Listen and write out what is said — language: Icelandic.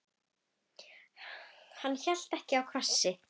Hann hélt ekki á krossi.